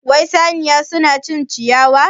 Wai saniya suna cin ciyawa?